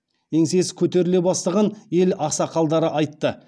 еңсесі көтеріле бастаған ел ақсақалдары айтты